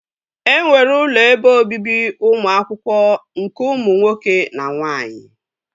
E nwere ụlọ ebe obibi ụmụ akwụkwọ nke ụmụ nwoke na nwaanyị